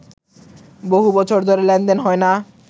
বহুবছর ধরে লেনদেন হয় না